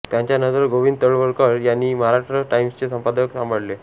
त्यांच्या नंतर गोविंद तळवलकर यांनी महाराष्ट्र टाइम्सचे संपादकपद सांभाळले